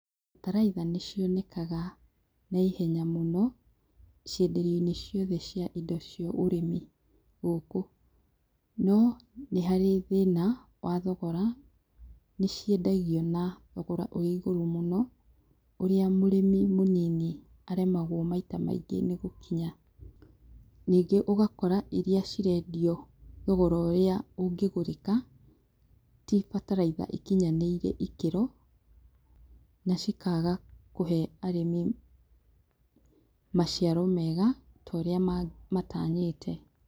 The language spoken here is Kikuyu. Bataraitha nĩ cionekaga naihenya mũno, cienderio-inĩ ciothe cia indo cia ũrĩmi, gũkũ. No nĩharĩ thĩna wa thogora, nĩciendagio na thogora ũrĩ igũrũ mũno, ũrĩa mũrĩmi mũnini, aremagwo maita maingĩ nĩ gũkinya. Ningĩ ũgakora iria cirendio thogora ũrĩa ũngĩgũrĩka, ti bataraitha ikinyanĩirie ikĩro, na cikaga kũhe arĩmi maciaro mega, ta ũrĩa matanyĩte.